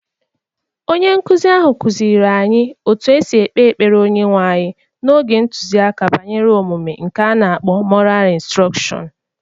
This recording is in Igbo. Onye nkụzi ahụ kụziiri anyị otú e si ekpe ekpere Onyenwe anyị n'oge ntụziaka banyere omume nke ana-akpọ moral instrọkshọñ